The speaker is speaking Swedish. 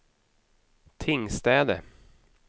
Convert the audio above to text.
Tingstäde